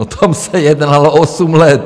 O tom se jednalo osm let.